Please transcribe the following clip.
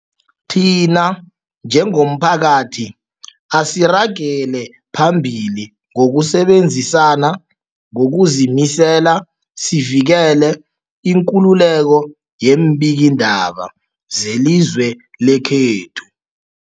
Thina njengomphakathi, asiragele phambili ngokusebenzisana ngokuzimisela sivikele ikululeko yeembikiindaba zelizwe lekhethu.